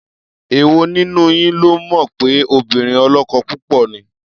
Èwo nínú yín ló mọ̀ pé obìnrin ọlọ́kọ púpọ̀ ni?